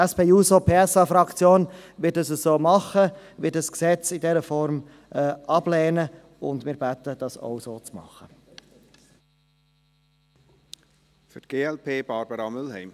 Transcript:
Die SP-JUSO-PSA-Fraktion wird dies so tun, sie wird das Gesetz in dieser Form ablehnen, und wir bitten, dies auch so zu machen.